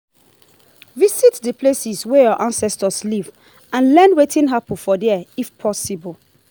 visit the places wey your ancestors live and learn wetin happen for there if possible